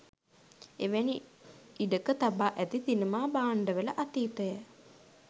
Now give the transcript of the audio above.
එවැනි ඉඩක තබා ඇති සිනමා භාණ්ඩවල අතීතය